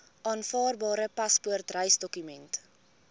aanvaarbare paspoort reisdokument